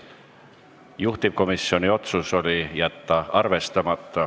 Juhtivkomisjoni otsus oli jätta arvestamata.